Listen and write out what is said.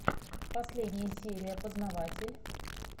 последняя серия познаватель